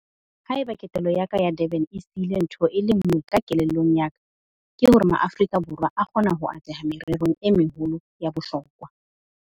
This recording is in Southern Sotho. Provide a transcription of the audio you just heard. Ha eba ketelo ya ka ya Durban e sihile ntho e le nngwe ka kelellong ya ka, ke hore Maaforika Borwa a kgona ho atleha mererong e meholo ya bohlokwa.